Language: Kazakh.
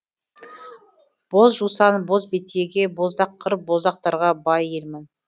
боз жусан боз бетеге боздақ қыр боздақтарға бай елмін